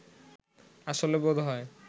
আসলে বোধহয়